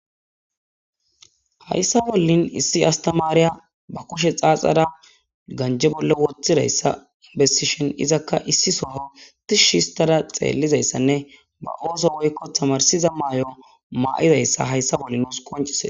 Hayssa bollin issi astamaariya ba kushe xaaxara ganje bolle wothidayssa inbestishon izakka issi soho tishsh histada xeellizayssanne ba ooso woykko tamarsiza maay7o maa7izayssa hayssa bolli os qoncisee.